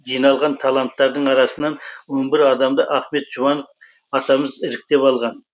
жиналған таланттардың арасынан он бір адамды ахмет жұбанов атамыз іріктеп алған